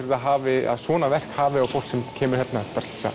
hafi að svona verk hafi á fólk sem kemur hingað